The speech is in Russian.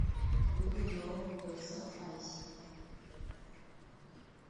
выбил нового бойца файзи